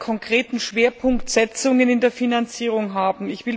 konkreten Schwerpunktsetzungen in der Finanzierung haben.